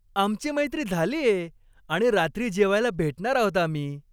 आमची मैत्री झालीये आणि रात्री जेवायला भेटणार आहोत आम्ही.